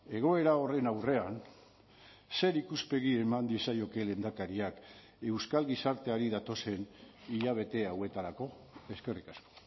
egoera horren aurrean zer ikuspegi eman diezaioke lehendakariak euskal gizarteari datozen hilabete hauetarako eskerrik asko